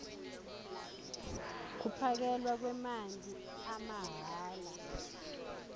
kuphakelwa kwemanti amahhala